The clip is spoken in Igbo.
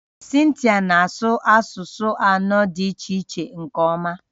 Cynthia na-asụ asụsụ anọ dị iche iche nke ọma